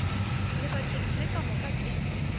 lebakeng le ka moka ke